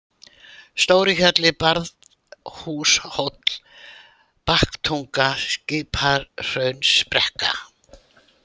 Stórihjalli, Barðhúshóll, Baktunga, Skipahraunsbrekka